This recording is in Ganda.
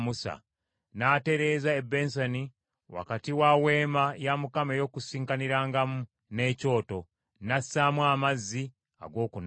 N’atereeza ebbensani wakati wa Weema ey’Okukuŋŋaanirangamu n’ekyoto, n’assaamu amazzi ag’okunaaba;